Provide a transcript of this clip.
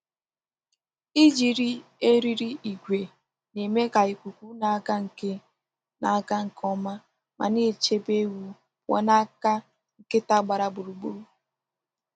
Iji eriri ígwè na-eme ka ikuku na-aga nke na-aga nke ọma ma na-echebe ewu pụọ n’aka nkịta gbara gburugburu.